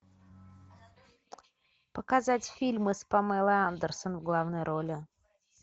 показать фильмы с памелой андерсон в главной роли